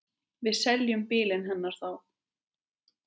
Við seljum bílinn hennar þá.